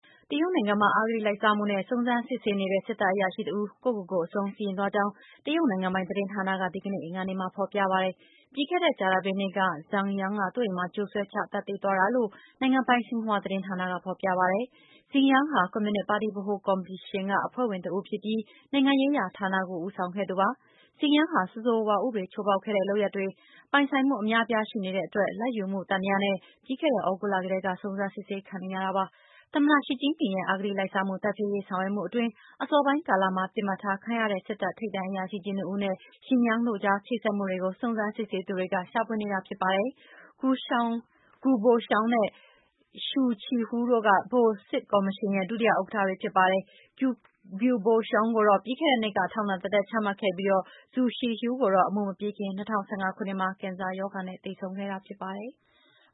တရုတ်နိုင်ငံမှာ အဂတိလိုက်စားမှုနဲ့ စုံစမ်းစစ်ဆေးနေတဲ့ စစ်တပ် အရာရှိ တဦး ကိုယ့်ကိုယ်ကိုယ် အဆုံးစီရင်သွားကြောင်း တရုတ် နိုင်ငံပိုင် သတင်းဌာနက ဒီကနေ့ အင်္ဂါနေ့မှာ ဖော်ပြပါတယ်။ ပြီးခဲ့တဲ့ ကြာသပတေးနေ့က Zhang Yang က သူ့အိမ်မှာ ကြိုးဆွဲချ သတ်သေသွားတာလို့ နိုင်ငံပိုင် ရှင်ဟွာ သတင်းဌာနက ဖော်ပြပါတယ်။ Zhang Yang က ကွန်မြူနစ်ပါတီ ဗဟိုစစ်ကော်မရှင်က အဖွဲ့ဝင် တဦးဖြစ်ပြီး နိုင်ငံရေးရာ ဌာနကို ဦးဆောင်ခဲ့သူပါ။ Zhang Yang ဟာ ဆိုးဆိုးရွားရွား ဥပဒေ ချိုးဖောက်ထားတဲ့ လုပ်ရပ်တွေ၊ နောက် ပိုင်ဆိုင်မှု အများအပြား ရှိနေတဲ့အတွက်လာဘ်ယူမှု သံသယနဲ့ ပြီးခဲ့တဲ့ သြဂုတ်လ ကတည်းက စုံစမ်းစစ်ဆေးခံနေရတာ ဖြစ်ပါတယ်။ သမ္မတ ရှီကျင်းပင်ရဲ့ အဂတိလိုက်စားမှု တိုက်ဖျက်ရေး ဆောင်ရွက်မှုအတွင်း အစောပိုင်းကာလမှာ ပစ်မှတ်ထားခံရတဲ့ စစ်တပ် ထိပ်တန်း အရာရှိကြီး နှစ်ဦးနဲ့ Zhan Yang တို့ကြား ချိတ်ဆက်မှုတွေကို စုံစမ်းစစ်ဆေးသူတွေက ရှာဖွေနေတာ ဖြစ်ပါတယ်။ Guo Boxiong နဲ့ Xu Caihou တို့က ဗဟိုစစ်ကော်မရှင်ရဲ့ ဒုတိယ ဥက္ကဌတွေ ဖြစ်ကြပါတယ်။ Guo Boxiong ကိုတော့ ပြီးခဲ့တဲ့နှစ်က ထောင်ဒဏ်တသက် ချမှတ်ခဲ့ပြီး Xu Caihou ကတော့ အမှု မပြီးခင် ၂၀၁၅ ခုနှစ်မှာ ကင်ဆာရောဂါနဲ့ သေဆုံးခဲ့တာ ဖြစ်ပါတယ်။